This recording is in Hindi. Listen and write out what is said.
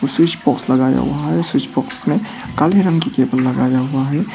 स्विच बॉक्स लगाया हुआ है स्विच बॉक्स में काले रंग की केबल लगाया हुआ है।